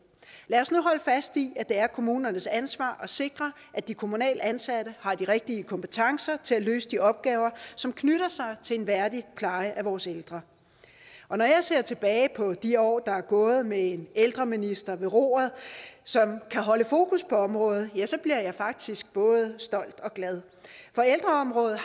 lad os nu holde fast i at det er kommunernes ansvar at sikre at de kommunalt ansatte har de rigtige kompetencer til at løse de opgaver som knytter sig til en værdig pleje af vores ældre når jeg ser tilbage på de år der er gået med en ældreminister ved roret som kan holde fokus på området ja så bliver jeg faktisk både stolt og glad for ældreområdet